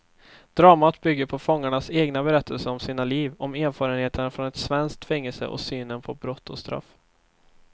Dramat bygger på fångarnas egna berättelser om sina liv, om erfarenheterna från ett svenskt fängelse och synen på brott och straff.